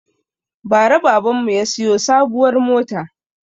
Bara baban mu ya siyo sabuwar mota